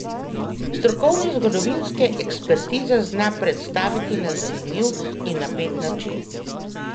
Strokovne zgodovinske ekspertize zna predstaviti na zanimiv in napet način.